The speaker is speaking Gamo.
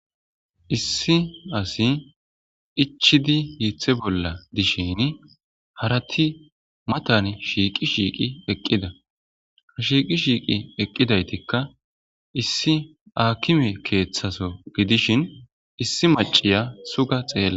issi asi ichidi hiithe bolla dishin harati matan shiiqi shiiqi eqqida ha shiiqi shiiqi eqqidaytikka issi aakime keeththaso gidishin issi maciya suga xeella